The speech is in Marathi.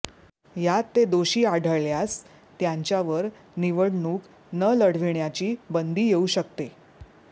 यात ते दोषी आढळल्यास त्यांच्यावर निवडणूक न लढविण्याची बंदी येऊ शकते